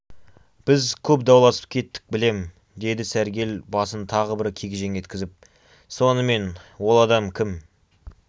біз көп дауласып кеттік білем деді сәргел басын тағы бір кегжең еткізіп сонымен ол адам кім